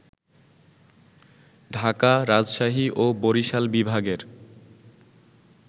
ঢাকা, রাজশাহী ও বরিশাল বিভাগের